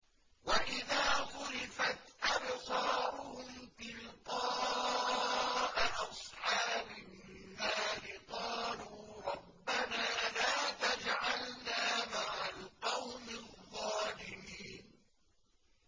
۞ وَإِذَا صُرِفَتْ أَبْصَارُهُمْ تِلْقَاءَ أَصْحَابِ النَّارِ قَالُوا رَبَّنَا لَا تَجْعَلْنَا مَعَ الْقَوْمِ الظَّالِمِينَ